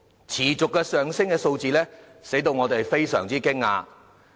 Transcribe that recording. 持續上升的數字令人非常驚訝。